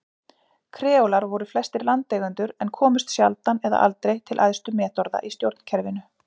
Kreólar voru flestir landeigendur en komust sjaldan eða aldrei til æðstu metorða í stjórnkerfinu.